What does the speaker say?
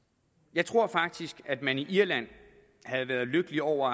jeg tror faktisk at man i irland havde været lykkelig over